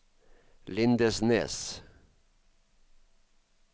Lindesnes